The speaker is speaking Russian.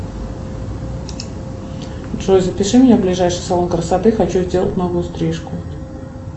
джой запиши меня в ближайший салон красоты хочу сделать новую стрижку